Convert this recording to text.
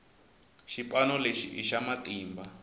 xipano lexi i xa matimba